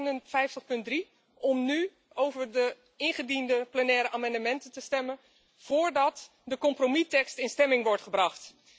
59.3 om nu over de ingediende plenaire amendementen te stemmen, voordat de compromistekst in stemming wordt gebracht.